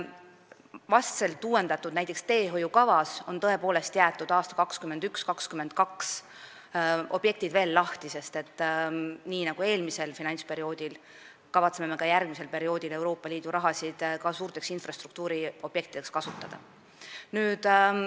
Näiteks vastselt uuendatud teehoiukavas on aastate 2021 ja 2022 objektid veel lahti jäetud, sest nii nagu eelmisel finantsperioodil, kavatseme me ka järgmisel perioodil Euroopa Liidu raha ka suurte infrastruktuuriobjektide rajamiseks kasutada.